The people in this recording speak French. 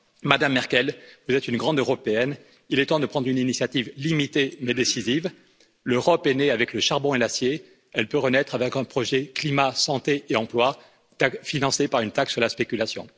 Madame Merkel, vous êtes une grande européenne, il est temps de prendre une initiative limitée mais décisive l'Europe est née avec le charbon et l'acier, elle peut renaître avec un projet climat, santé et emploi financé par une taxe sur la spéculation.